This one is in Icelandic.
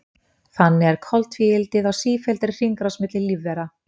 Þannig er koltvíildið á sífelldri hringrás milli lífvera.